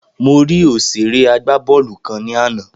Mo rí òsèré agbábọ́ọ́lù kan ní àná